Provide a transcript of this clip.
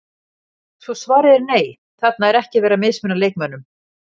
Svo svarið er nei, þarna er ekki verið að mismuna leikmönnum.